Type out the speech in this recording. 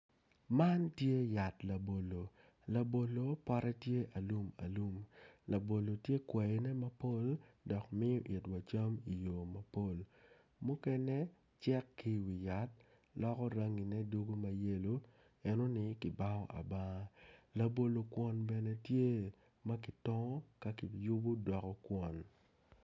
Man tye yat labolo labolo pote tye alumalum labolo tye kwaine mapol dok miyo itwa cam iyo mapol mukene cek ki iwi yat loko rangine dugo ma yelo enoni kibango abanga labolo kwon bene tye ma kitongo ka kiyubo doko kwon.